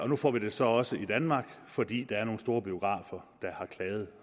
nu får vi det så også i danmark fordi der er nogle store biografer der har klaget